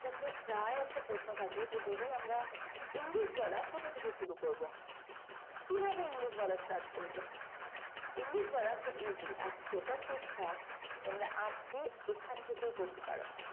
প্রায় একটা প্রশ্ন থাকে যে দিদি আমরা english বলা কোথা থেকে শুরু করব কিভাবে english বলা start করব english বলা খুব easy আর সেটার চেষ্টা তোমরা আজকে এখান থেকে করতে পারো।